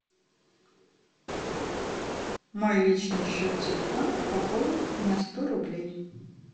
мой личный счет телефона пополнить на сто рублей